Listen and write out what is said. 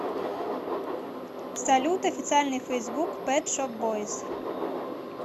салют официальный фейсбук пет шоп бойз